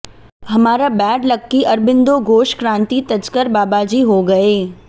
हमारा bad luck कि अरबिंदो घोष क्रांति तजकर बाबाजी हो गए